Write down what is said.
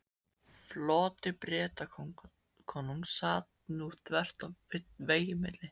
Floti Bretakonungs sat nú þvert í vegi milli